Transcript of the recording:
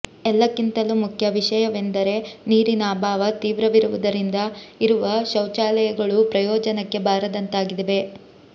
ಎಲ್ಲಕ್ಕಿಂತಲೂ ಮುಖ್ಯ ವಿಷಯವೆಂದರೆ ನೀರಿನ ಅಭಾವ ತೀವ್ರವಿರುವುದರಿಂದ ಇರುವ ಶೌಚಾಲಯಗಳೂ ಪ್ರಯೋಜನಕ್ಕೆ ಬಾರದಂತಾಗಿವೆ